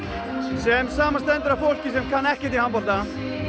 sem samanstendur af fólki sem kann ekkert í handbolta